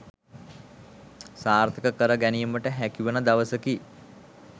සාර්ථක කර ගැනීමට හැකිවන දවසකි